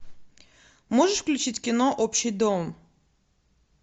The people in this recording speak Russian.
можешь включить кино общий дом